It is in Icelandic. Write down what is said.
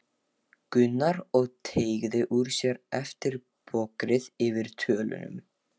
Gunnar og teygði úr sér eftir bogrið yfir dollunum.